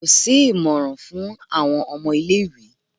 Ko si imọran fun awọn ọmọ ile-iwe